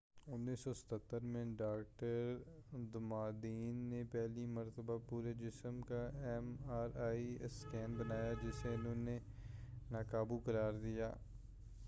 1977ء میں doctor Damadian نے پہلی مرتبہ پورے جسم کا ایم آر آئی اسکینر بنایا جسے انہوں نے ناقابو قرار دیا